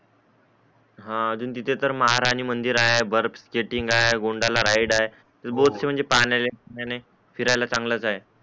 हा अजून तिथे तर महार आणि मंदिर आहे बर्फ स्केटटींग हाय गोंदना रायड हाय तर बोटस हाय पाण्याचे ठिकाणी फिरायला चांगलाच हाय